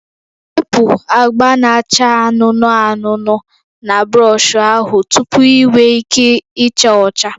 Wepu agba na-acha anụnụ anụnụ na brọsh ahụ tupu ị nwee ike ịcha ọcha